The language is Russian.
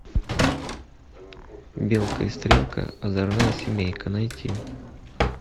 белка и стрелка озорная семейка найти